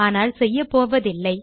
ஆனால் செய்யப்போவதில்லை